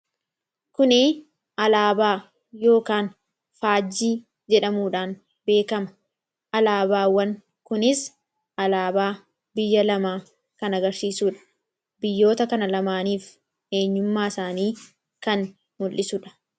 kuni alaabaa yookaan faajjii jedhamuudhaan beekama alaabaawwan kunis alaabaa biyya lamaa kan agarsiisuudha biyyoota kana lamaaniif eenyummaa isaanii kan mul'isuudha.